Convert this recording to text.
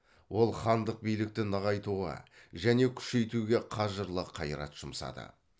ол хандық билікті нығайтуға және күшейтуге қажырлы қайрат жұмсады